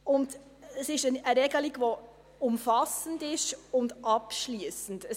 Dies ist eine Regelung, die umfassend und abschliessend ist.